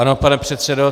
Ano, pane předsedo.